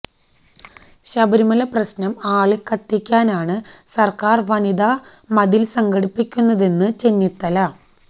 ശബരിമല പ്രശ്നം ആളിക്കത്തിക്കാനാണ് സര്ക്കാര് വനിതാ മതില് സംഘടിപ്പിക്കുന്നതെന്ന് ചെന്നിത്തല